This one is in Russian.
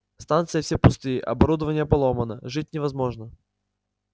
станции все пустые оборудование поломано жить невозможно